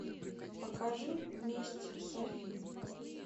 покажи месть софи